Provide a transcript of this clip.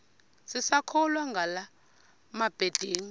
sisakholwa ngala mabedengu